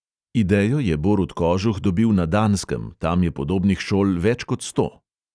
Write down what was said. Idejo je borut kožuh dobil na danskem, tam je podobnih šol več kot sto.